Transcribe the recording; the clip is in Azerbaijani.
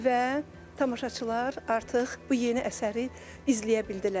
Və tamaşaçılar artıq bu yeni əsəri izləyə bildilər.